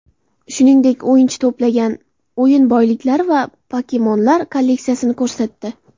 Shuningdek, o‘yinchi to‘plangan o‘yin boyliklari va pokemonlar kolleksiyasini ko‘rsatdi.